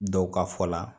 Dɔw ka fɔ la